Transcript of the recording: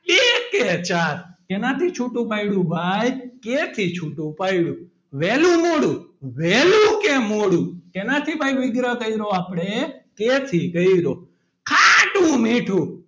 બે કે ચાર કેનાથી છૂટું પાડ્યું ભાઈ કે થી છૂટું પાડ્યું વહેલું મોડું વહેલું કે મોડું શેનાથી ભાઈ વિગ્રહ કર્યો આપણે કે થી કર્યો ખાટું -મીઠું,